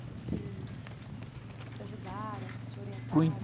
Que, que te ajudaram, que te orientaram?